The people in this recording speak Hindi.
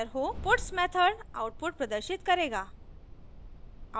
puts मेथड आउटपुट प्रदर्शित करेगा